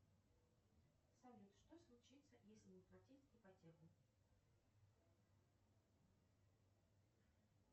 салют что случится если не платить ипотеку